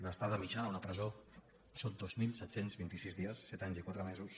l’estada mitjana a una presó són dos mil set cents i vint sis dies set anys i quatre mesos